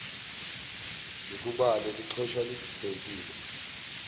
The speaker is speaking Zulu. ngikubale lixhoshwa libhekile